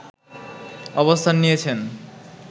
অবস্থান নিয়েছেন